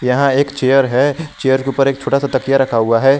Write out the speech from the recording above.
यहां एक चेयर है चेयर के ऊपर एक छोटा सा तकिया रखा हुआ है।